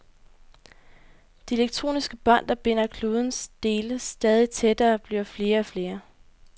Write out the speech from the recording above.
De elektroniske bånd, der binder klodens dele stadig tættere, bliver flere og flere.